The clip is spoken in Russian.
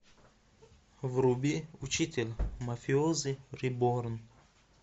вруби учитель мафиози реборн